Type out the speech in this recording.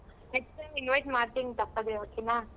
Next time invite ಮಾಡ್ತೀನಿ ತಪ್ಪದೇ okay ನಾ?